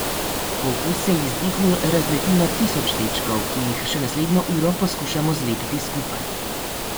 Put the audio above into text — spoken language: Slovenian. Fokus se v izdihu razleti na tisoč dečkov, ki jih še naslednjo uro poskušamo zlepiti skupaj.